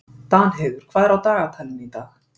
Danheiður, hvað er á dagatalinu í dag?